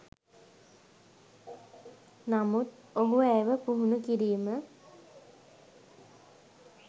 නමුත් ඔහු ඇයව පුහුණුකිරීම